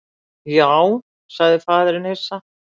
Já, sagði faðirinn hissa.